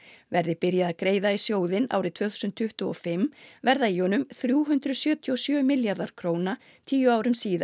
verði byrjað að greiða í sjóðinn árið tvö þúsund tuttugu og fimm verða í honum þrjú hundruð sjötíu og sjö milljarðar króna tíu árum síðar